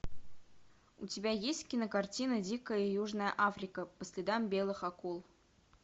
у тебя есть кинокартина дикая южная африка по следам белых акул